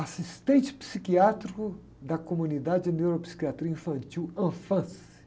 Assistente psiquiátrico da comunidade de neuropsiquiatria infantil, Anfans.